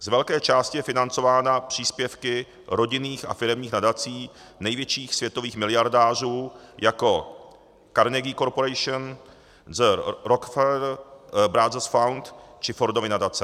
Z velké části je financována příspěvky rodinných a firemních nadací největších světových miliardářů jako Carnegie Corporation, The Rockefeller Brothers Fund či Fordovy nadace.